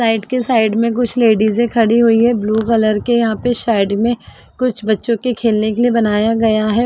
Slide के side में कुछ लेडिजे खड़ी हुई हैं। ब्लू कलर के यहाँ पर साइड में कुछ बच्चों के खेलने के लिए बनाया गया है। .